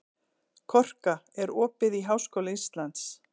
Korka, er opið í Háskóla Íslands?